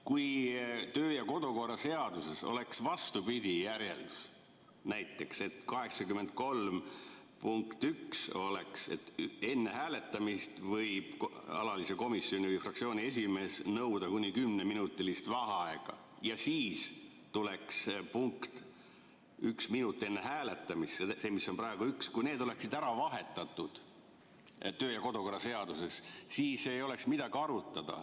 Kui kodu‑ ja töökorra seaduses oleks vastupidine järjekord, näiteks § 83 punkt 1 oleks, et enne hääletamist võib alalise komisjoni või fraktsiooni esimees nõuda kuni kümneminutilist vaheaega, ja siis tuleks punkt, et üks minut enne hääletamist, see, mis on praegu nr 1, kui need oleksid ära vahetatud kodu‑ ja töökorra seaduses, siis ei oleks midagi arutada.